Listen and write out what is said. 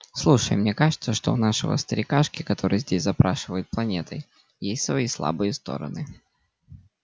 слушай мне кажется что у нашего старикашки который здесь запрашивает планетой есть свои слабые стороны